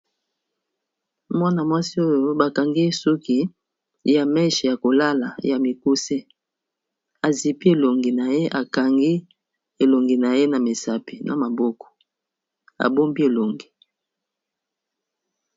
Mwana-mwasi oyo bakangi ye suki ya meshe ya kolala ya mikuse, azipi elongi na ye akangi elongi na ye na misapi na maboko abombi elongi.